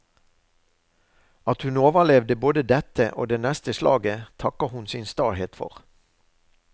At hun overlevde både dette og det neste slaget, takker hun sin stahet for.